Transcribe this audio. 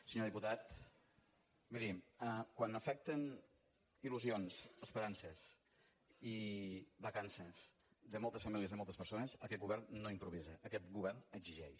senyor diputat miri quan afecten il·lusions esperances i vacances de moltes famílies i moltes persones aquest govern no improvisa aquest govern exigeix